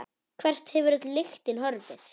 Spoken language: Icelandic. Hvert hefur öll lyktin horfið?